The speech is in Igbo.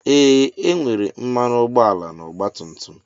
Ee e nwere mmanụ ụgbọala na ọgba tum tum.